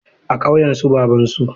A ƙauyen su babansu.